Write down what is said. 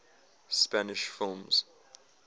spanish films